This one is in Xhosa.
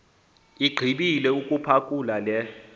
igqibile ukuphakula le